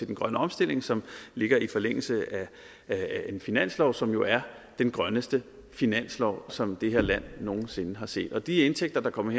den grønne omstilling som ligger i forlængelse af en finanslov som jo er den grønneste finanslov som det her land nogensinde har set og de indtægter der kommer